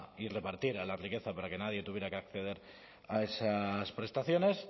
y repartiera la riqueza para que nadie tuviera que acceder a esas prestaciones